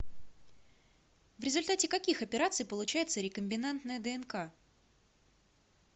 в результате каких операций получается рекомбинантная днк